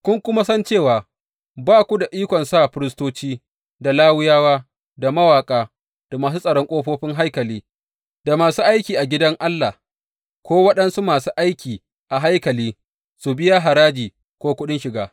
Ku kuma san cewa, ba ku da ikon sa firistoci, da Lawiyawa, da mawaƙa, da masu tsaron ƙofofin haikali, da masu aiki a gidan Allah, ko waɗansu masu aiki a haikali su biya haraji, ko kuɗin shiga.